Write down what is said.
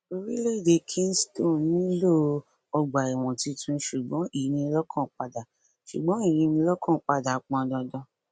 orílẹèdè kingston nílò ọgbàẹwọn tuntun ṣùgbọn ìyínilọkànpadà ṣùgbọn ìyínilọkànpadà pọn dandan